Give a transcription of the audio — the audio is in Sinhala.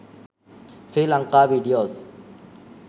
sri lanka videos